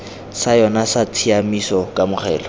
sa yona sa tshiamiso kamogelo